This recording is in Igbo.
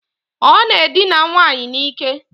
Ọ na-edina nwaanyị n'ike.